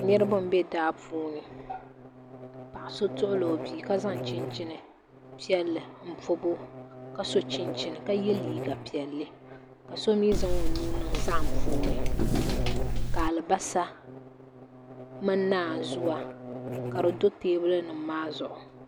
Niraba n bɛ daa puuni paɣa so tuɣula o bia ka zaŋ chinchin piɛlli n pobo ka so chinchin ka yɛ liiga piɛlli ka so mii zaŋ o nuu niŋ zaham puuni ka alibarisa mini naanzuwa ka di do teebuli nim maa zuɣu